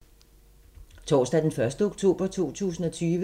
Torsdag d. 1. oktober 2020